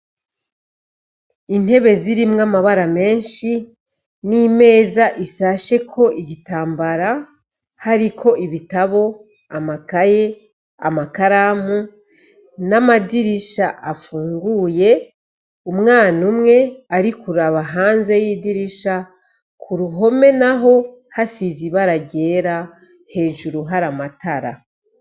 Intebe zirimwo amabara menshi, n’imeza isasheko igitambara ,hariko ibitabo, amakaye, amakaramu ,n’amadirisha afunguye. Umwana umwe arikuraba hanze yidirisha. K’Uruhome naho hasize ibara ryera ;hejuru hari amatara.